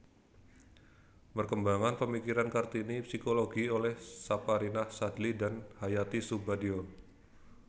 Perkembangan pemikiran Kartini psikologi oleh Saparinah Sadli dan Hayati Soebadio